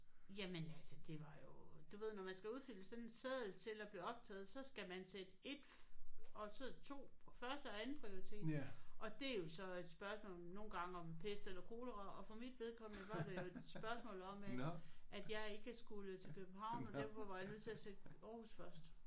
Jamen altså det var jo du ved når man skal udfylde sådan en seddel til at blive optaget så skal man sætte 1 og så 2 på første- og andenprioritet og det er jo så et spørgsmål nogle gange om pest eller kolera og for mit vedkommende var det jo et spørgsmål om at at jeg ikke skulle til København og derfor var jeg nødt til at sætte Aarhus først